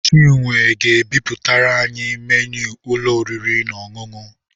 Chinwe ga-ebipụtara anyị menu ụlọ oriri na ọṅụṅụ.